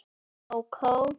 Kókó?